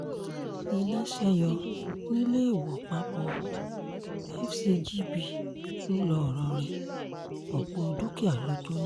iná ṣe yọ níléèwọ́pàpọ̀ fcgb ńlọrọrìn ọ̀pọ̀ dúkìá ló jóná